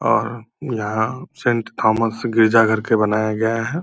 और यहाँ saint Thomas गिरजाघर के बनाया गया है।